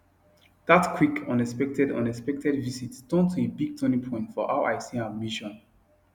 that quick unexpected unexpected visit turn to a big turning point for how i see ambition